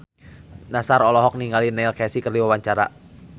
Nassar olohok ningali Neil Casey keur diwawancara